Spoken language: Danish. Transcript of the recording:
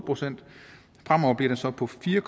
procent fremover bliver den så på fire